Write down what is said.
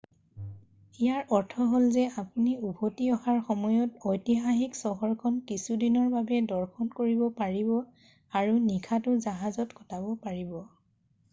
ইয়াৰ অৰ্থ হ'ল যে আপুনি উভতি অহাৰ সময়ত ঐতিহাসিক চহৰখন কিছুদিনৰ বাবে দৰ্শন কৰিব পাৰিব আৰু নিশাটো জাহাজত কটাব পাৰিব